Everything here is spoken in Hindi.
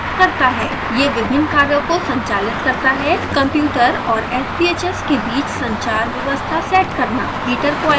यह विभिन्न कार्यों को संचालित करता है: कंप्यूटर और sbhs के बीच संचार व्यवस्था सेट करना